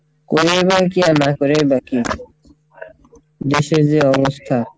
করেও বা কী আর না করেও বা কী দেশের যে অবস্থা,